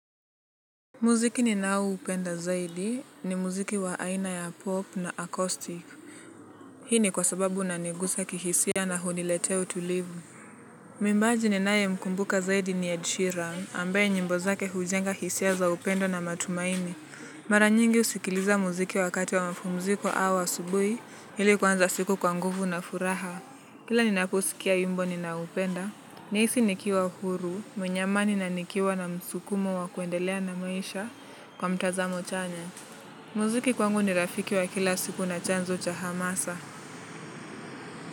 Muziki ninaoupenda zaidi ni muziki wa aina ya pop na accoustic. Hii ni kwa sababu unanigusa kihisia na huniletea utulivu. Mwimbaji ninayemkumbuka zaidi ni edsheran ambaye nyimbo zake hujenga hisia za upendo na matumaini. Mara nyingi husikiliza muziki wakati wa mapumziko au asubui ili kuanza siku kwa nguvu na furaha. Kila ninaposikia wimbo ninaupenda. Nahisi nikiwa huru, mwenye amani na nikiwa na msukumo wa kuendelea na maisha kwa mtazamo chanya. Muziki kwangu ni rafiki wa kila siku na chanzo cha hamasa.